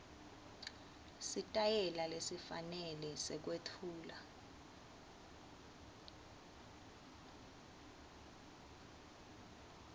sitayela lesifanele sekwetfula